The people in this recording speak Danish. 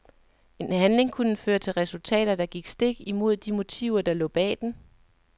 En handling kunne føre til resultater, der gik stik imod de motiver der lå bag den.